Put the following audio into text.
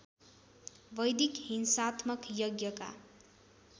वैदिक हिंसात्मक यज्ञका